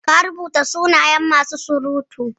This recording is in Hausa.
Ka rubuta sunayen masu surutu?